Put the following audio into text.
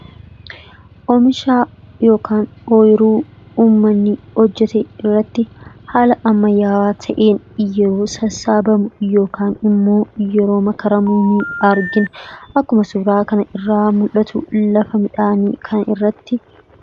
Oomisha yookiin ooyiruu uummanni hojjetee irratti haala ammayyaawaa ta'een yoo sassaabamu yookiin immoo yeroo makaramu ni argina.